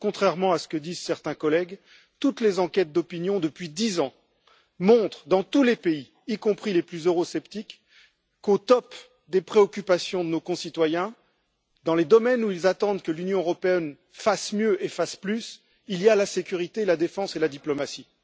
En effet, contrairement à ce que disent certains collègues, toutes les enquêtes d'opinion depuis dix ans montrent, dans tous les pays, y compris les plus eurosceptiques, qu'au premier rang des préoccupations de nos concitoyens, des domaines où ils attendent que l'Union européenne fasse mieux et fasse plus, il y a la sécurité, la défense et la diplomatie.